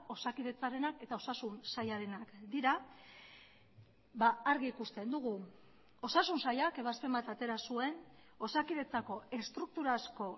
osakidetzarenak eta osasun sailarenak dira argi ikusten dugu osasun sailak ebazpen bat atera zuen osakidetzako estrukturazko